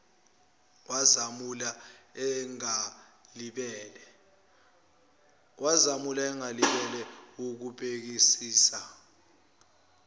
wazamula engalibele wukubhekisisa